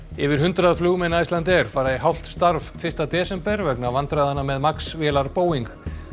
yfir hundrað flugmenn Icelandair fara í hálft starf fyrsta desember vegna vandræðanna með Max vélar Boeing